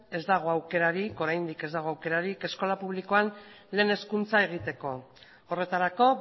ez dago aukerarik oraindik ez dago aukerarik eskola publikoan lehen hezkuntza egiteko horretarako